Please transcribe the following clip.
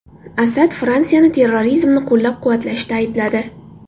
Asad Fransiyani terrorizmni qo‘llab-quvvatlashda aybladi.